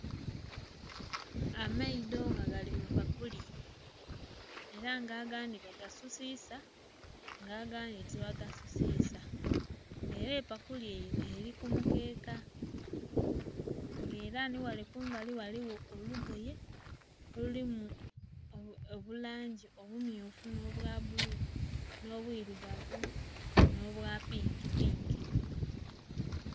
Amaido nga gali mupakuli era nga agandhi bagasusisa nga agandhi tibagasusisa nga era epakuli eri kumukeka nga era niwale kumbali ghaligho olugoye olulimu obulungi obummyufu n'obwabulu, n'obwirugavu, n'obwapinkipinki.